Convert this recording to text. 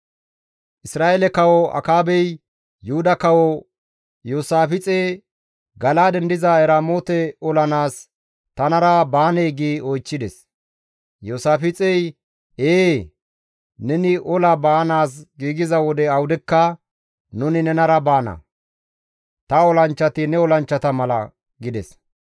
Isra7eele kawo Akaabey Yuhuda Kawo Iyoosaafixe, «Gala7aaden diza Eramoote olanaas tanara baanee?» gi oychchides. Iyoosaafixey, «Ee, neni ola baanaas giigiza wode awudekka nuni nenara baana. Ta olanchchati ne olanchchata mala» gides.